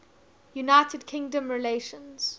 united kingdom relations